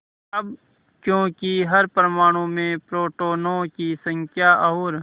अब क्योंकि हर परमाणु में प्रोटोनों की संख्या और